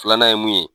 Filanan ye mun ye